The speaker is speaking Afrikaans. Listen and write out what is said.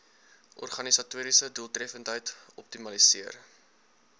organisatoriese doeltreffendheid optimaliseer